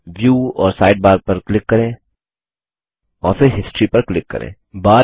view और sidebar पर click करें और फिर हिस्टोरी पर क्लिक करें